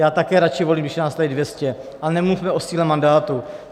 Já také radši volím, když nás je tady 200, ale nemluvme o síle mandátu.